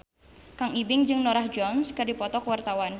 Kang Ibing jeung Norah Jones keur dipoto ku wartawan